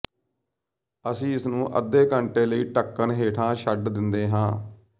ਅਸੀਂ ਇਸਨੂੰ ਅੱਧੇ ਘੰਟੇ ਲਈ ਢੱਕਣ ਹੇਠਾਂ ਛੱਡ ਦਿੰਦੇ ਹਾਂ